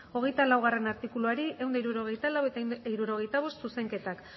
hogeita laugarrena artikuluari ehun eta hirurogeita lau eta ehun eta hirurogeita bost zuzenketak